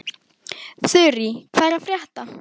Þurí, hvað er að frétta?